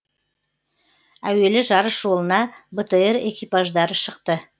әуелі жарыс жолына бтр экипаждары шықты